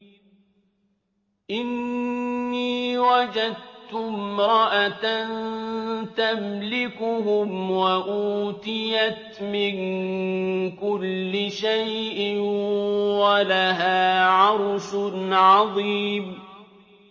إِنِّي وَجَدتُّ امْرَأَةً تَمْلِكُهُمْ وَأُوتِيَتْ مِن كُلِّ شَيْءٍ وَلَهَا عَرْشٌ عَظِيمٌ